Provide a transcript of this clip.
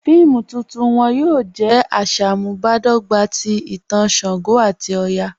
Fíìmù tuntun wọn yóò jẹ̀ àṣàmúbadọ́gbà tì ìtàn ṣàngó àti ọ̀yà.